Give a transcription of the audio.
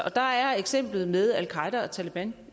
og der er eksemplet med al qaeda og taleban